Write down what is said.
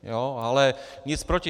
Ale nic proti.